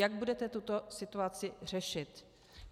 Jak budete tuto situaci řešit?